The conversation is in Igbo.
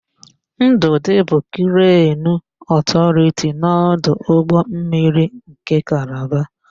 Ndụdị bụ krenu ọpụretọ n'ọdụ ụgbọmmiri nke Kalaba.